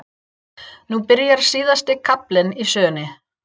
Nú byrjar síðasti kaflinn í sögunni.